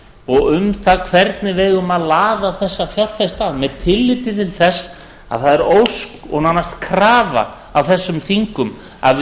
og um það hvernig við eigum að laða þessa fjárfesta að með tilliti til þess að það er ósk og nánast krafa af þessum þingum að við